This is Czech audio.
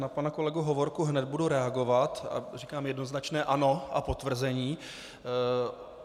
Na pana kolegu Hovorku hned budu reagovat a říkám jednoznačné ano a potvrzení.